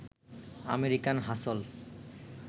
'American হাসল'